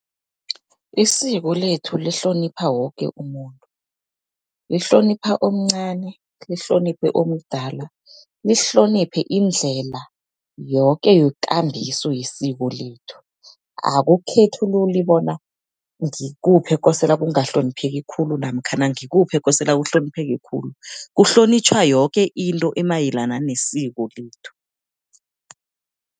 Isiko lethu lihlonipha woke umuntu, lihlonipha omncani, lihloniphe omdala, lihloniphe indlela yoke yekambiso yesiko lethu. Akukhethululi bona ngikuphi ekosela kungahlonipheki khulu, namkhana ngikuphi ekosela kuhlonipheke khulu. Kuhlonitjhwa yoke into emayelana nesiko lethu.